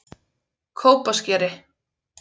Kópaskeri